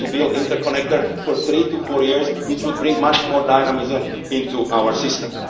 we need to build interconnectors in three to four years, which would bring much more dynamism into our system.